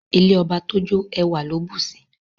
Ilé ọba tójó ẹwà ló bùsi